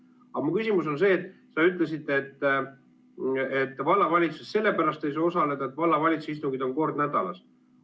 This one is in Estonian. Aga mu küsimus on see, et sa ütlesid, et vallavalitsuse töös ei saa sellepärast osaleda, et vallavalitsuse istungid on kord nädalas.